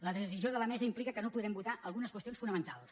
la decisió de la mesa implica que no podrem votar algunes qüestions fonamentals